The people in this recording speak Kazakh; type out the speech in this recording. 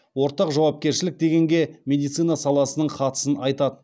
ортақ жауапкершілік дегенге медицина саласының қатысын айтат